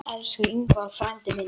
Elsku Ingvar frændi minn.